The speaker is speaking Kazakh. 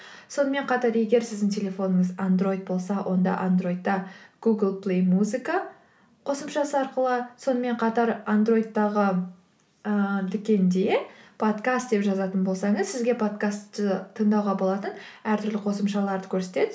сонымен қатар егер сіздің телефоныңыз андроид болса онда андроидта гугл плэй музыка қосымшасы арқылы сонымен қатар андроидтағы ыыы дүкенде подкаст деп жазатын болсаңыз сізге подкастты тыңдауға болатын әртүрлі қосымшаларды көрсетеді